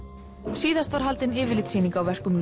síðast var haldin yfirlitssýning á verkum